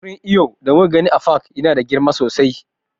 Wurin iyon da muka gani a pak ɗin ya na da girma sosai